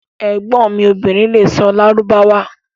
Ẹgbon mi obìrín lè sọ̀ Lárúbáwá